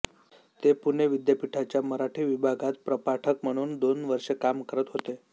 ते पुणे विद्यापीठाच्या मराठी विभागात प्रपाठक म्हणून दोन वर्षे काम करत होते